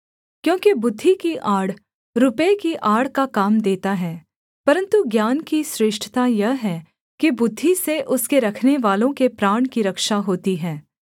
क्योंकि बुद्धि की आड़ रुपये की आड़ का काम देता है परन्तु ज्ञान की श्रेष्ठता यह है कि बुद्धि से उसके रखनेवालों के प्राण की रक्षा होती है